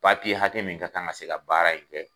Papi ye hakɛ min ka kan ka se ka baara in kɛ